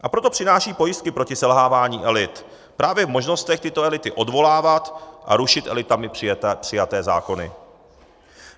A proto přináším pojistky proti selhávání elit právě v možnostech tyto elity odvolávat a rušit elitami přijaté zákony.